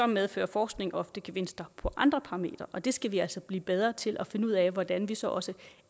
medfører forskning ofte gevinster på andre parametre og det skal vi altså blive bedre til at finde ud af hvordan vi så så